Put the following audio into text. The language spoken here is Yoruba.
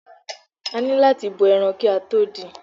A ni láti bọ ẹran ki a to dín-in.